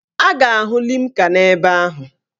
A ga-ahụ limca n'ebe ahụ.